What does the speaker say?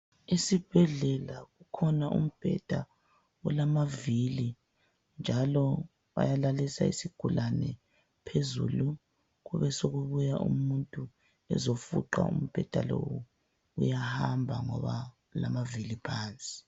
Esibhedlela kukhona umbheda olamavili, njalo bayalalisa isigulane phezulu kubesekubuya umuntu ezofuqa umbheda lowu. Uyahamba ngoba ulamavili phansi.